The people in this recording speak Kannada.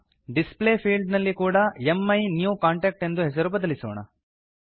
ಡಿಸ್ಪ್ಲೇ ಫೀಲ್ಡ್ ನಲ್ಲಿ ಕೂಡ ಮೈನ್ಯೂಕಾಂಟಾಕ್ಟ್ ಎಂದು ಹೆಸರು ಬದಲಿಸೋಣ